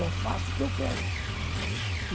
Só faço o que eu quero.